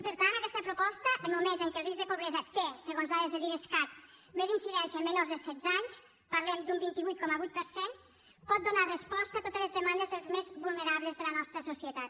per tant aquesta proposta en moments en què el risc de pobresa té segons dades de l’idescat més incidència en menors de setze anys parlem d’un vint vuit coma vuit per cent pot donar resposta a totes les demandes dels més vulnerables de la nostra societat